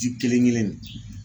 Di kelen kelen nin.